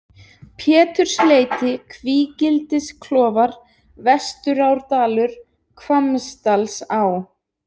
Pétursleiti, Kvígildisklofar, Vesturárdalur, Hvammsdalsá